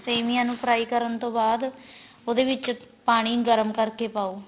ਸੇਮੀਆਂ ਨੂੰ fry ਕਰਨ ਤੋਂ ਬਾਅਦ ਉਹਦੇ ਵਿਚ ਪਾਣੀ ਗਰਮ ਕਰ ਕੇ ਪਾਉ